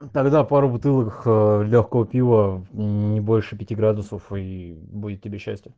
тогда пару бутылок лёгкого пива не больше пяти градусов и будет тебе счастье